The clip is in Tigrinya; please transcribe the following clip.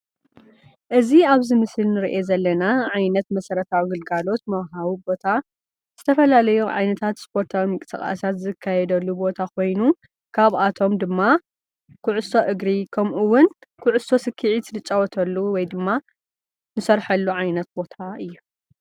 እዚ አብዚ ምስሊ ንሪኦ ዘለና ዓይነት መሰረታዊ ግልጋሎት መውሂቢ ቦታ ዝተፈላለዩ ዓይነታት ስፖርታዊ ምንቅስቃሳት ዝካየደሉ ቦታ ኮይኑ ካብኣቶም ድማ ኩዕሶ እግሪ ከምኡ እውን ኩዕሶ ስክዒት እንፃወተሉ ወይ ድማ ንሰርሐሉ ዓይነት ቦታ እዩ።